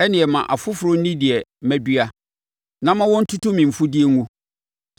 ɛnneɛ ma afoforɔ nni deɛ madua, na ma wɔntutu me mfudeɛ ngu.